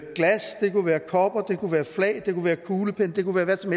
kunne være kopper det kunne være flag det kunne være kuglepenne det kunne være hvad som